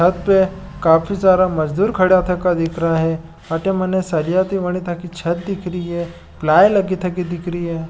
छत पर सबसे काफी सारा मजदूर खड़ा था अटे मने सरिया की बनी छत दिख रही है प्लाई लगी थकी दिख रही है।